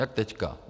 Jak teď.